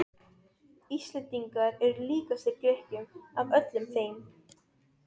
Íslendingar eru líkastir Grikkjum af öllum þeim